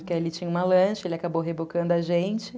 Porque ele tinha uma lancha, ele acabou rebocando a gente.